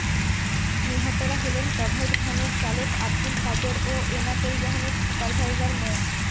নিহতরা হলেন কাভার্ডভ্যানের চালক আবদুল কাদের ও এনা পরিবহনের সুপারভাইজার মো